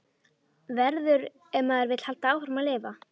Verður- ef maður vill halda áfram að lifa.